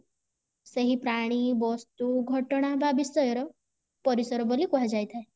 ଏଇ ପ୍ରାଣୀ ବସ୍ତୁ ଘଟଣା ବା ବିଷୟ ର ପରିସର ବୋଲି କୁହାଯାଇଥାଏ